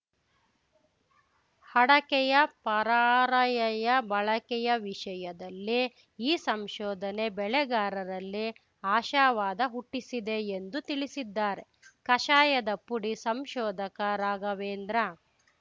ಅಡಕೆಯ ಪರಾರ‍ಯಯ ಬಳಕೆಯ ವಿಷಯದಲ್ಲಿ ಈ ಸಂಶೋಧನೆ ಬೆಳೆಗಾರರಲ್ಲಿ ಆಶಾವಾದ ಹುಟ್ಟಿಸಿದೆ ಎಂದು ತಿಳಿಸಿದ್ದಾರೆ ಕಷಾಯದ ಪುಡಿ ಸಂಶೋಧಕ ರಾಘವೇಂದ್ರ